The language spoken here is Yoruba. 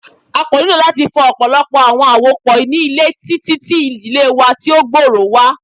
A ko ni lati fọ ọpọlọpọ awọn awopọ ni ile titi ti idile wa ti o gbooro wa